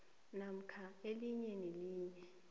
namkha elinye nelinye